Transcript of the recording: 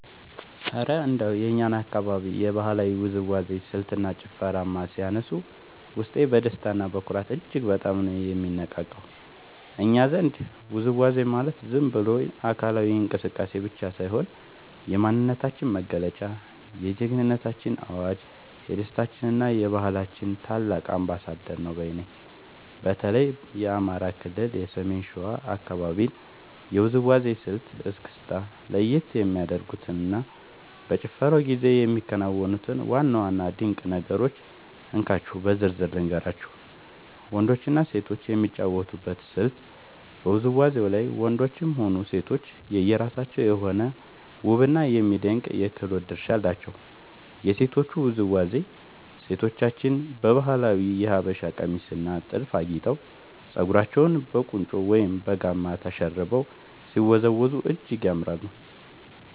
እረ እንደው የእኛን አካባቢ የባህላዊ ውዝዋዜ ስልትና ጭፈርማ ሲያነሱት፣ ውስጤ በደስታና በኩራት እጅግ በጣም ነው የሚነቃቃው! እኛ ዘንድ ውዝዋዜ ማለት ዝም ብሎ አካላዊ እንቅስቃሴ ብቻ ሳይሆን፣ የማንነታችን መገለጫ፣ የጀግንነታችን አዋጅ፣ የደስታችንና የባህላችን ታላቅ አምባሳደር ነው ባይ ነኝ። በተለይ የአማራ ክልል የሰሜን ሸዋ አካባቢን የውዝዋዜ ስልት (እስክስታ) ለየት የሚያደርጉትንና በጭፈራው ጊዜ የሚከናወኑትን ዋና ዋና ድንቅ ነገሮች እንካችሁ በዝርዝር ልንገራችሁ፦ . ወንዶችና ሴቶች የሚጫወቱበት ስልት በውዝዋዜው ላይ ወንዶችም ሆኑ ሴቶች የየራሳቸው የሆነ ውብና የሚደነቅ የክህሎት ድርሻ አላቸው። የሴቶቹ ውዝዋዜ፦ ሴቶቻችን በባህላዊው የሀበሻ ቀሚስና ጥልፍ አጊጠው፣ ፀጉራቸውን በቁንጮ ወይም በጋማ ተሸርበው ሲወዝወዙ እጅግ ያምራሉ።